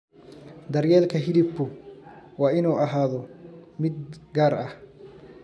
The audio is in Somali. Daryeelka hilibku waa inuu ahaado mid gaar ah.